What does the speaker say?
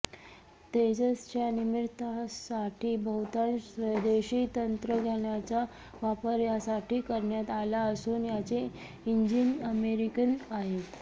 तेजसच्या निर्मितीसाठी बहुतांश स्वदेशी तंत्रज्ञानाचा वापर यासाठी करण्यात आला असून याचे इंजिन अमेरिकन आहे